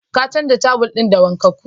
Ka canza tawal ɗin da wankakkun?